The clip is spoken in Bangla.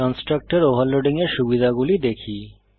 কন্সট্রাকটর ওভারলোডিং এর সুবিধাগুলি দেখি